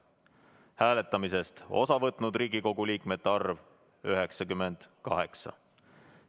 Hääletamisest osa võtnud Riigikogu liikmete arv: 98.